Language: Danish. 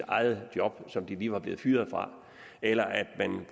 eget job som de lige var blevet fyret fra eller at man